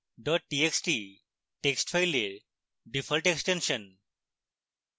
txt text file default extension